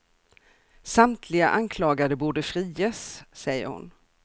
Samtliga anklagade borde friges, säger hon.